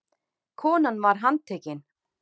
Konan var handtekin